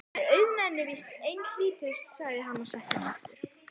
En auðnan er víst einhlítust, sagði hann og settist aftur.